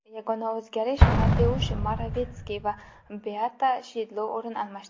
Yagona o‘zgarish Mateush Moravetskiy va Beata Shidlo o‘rin almashdi.